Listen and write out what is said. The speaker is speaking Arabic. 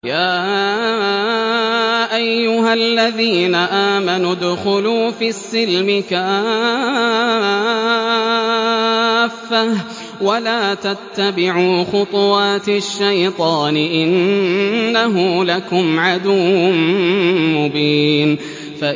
يَا أَيُّهَا الَّذِينَ آمَنُوا ادْخُلُوا فِي السِّلْمِ كَافَّةً وَلَا تَتَّبِعُوا خُطُوَاتِ الشَّيْطَانِ ۚ إِنَّهُ لَكُمْ عَدُوٌّ مُّبِينٌ